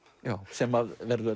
sem verður